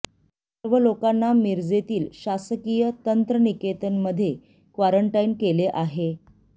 सर्व लोकांना मिरजेतील शासकीय तंत्रनिकेतन मध्ये इंश्ंट्यूशन क्वारंटाइन केले आहे